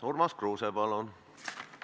Urmas Kruuse, palun!